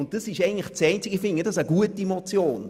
Ich halte dies für eine gute Motion.